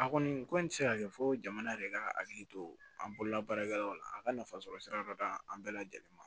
A kɔni ko nin tɛ se ka kɛ fo jamana yɛrɛ ka hakili to an bolola baarakɛlaw la a ka nafa sɔrɔ sira dɔ d'an bɛɛ lajɛlen ma